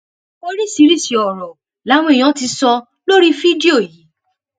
oríṣiríṣiì ọrọ làwọn èèyàn ti sọ lórí fídíò yìí